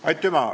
Aitüma!